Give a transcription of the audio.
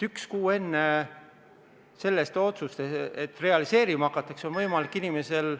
Üks kuu enne seda otsust, et realiseerima hakatakse, on võimalik inimesel ...